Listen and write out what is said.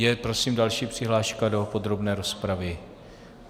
Je prosím další přihláška do podrobné rozpravy?